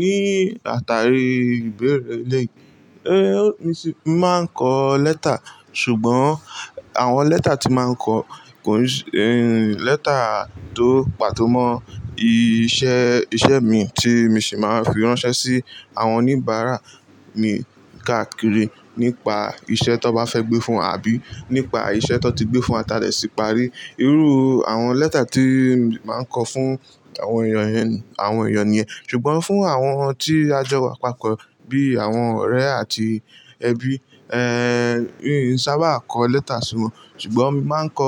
Ní àtàrí ìbẹ̀erẹ̀ elẹ̀yi, mi sì mo máa ń kọ lẹ́tà, ṣùgbọ́n àwọn lẹ́tà tí n màá ń kọ kò ní ṣẹ́-- lẹ́tà tó pàtó mọ iṣẹ́, iṣẹ́ mi tí mi sì máa ń fi ránṣẹ́ sí àwọn oníbàárà mi káàkiri nípa iṣẹ́ tan bá fẹ́ gbé fún wa àbí nípa iṣẹ́ tan ti gbé fún wa ta dẹ̀ sì parí. Irú àwọn lẹ́tà tí màá ń kọ fún àwọn èèyàn yẹn, àwọn èèyàn nìyẹn. Ṣùgbọ́n fún àwọn tí a jọ wa papọ̀ bí àwọn ọ̀rẹ́ àti ẹbí, n ṣábà kọ lẹ́tà sí wọn, ṣùgbọ́n mi màá ń kọ,